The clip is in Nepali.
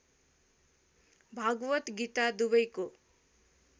भागवत गीता दुबैको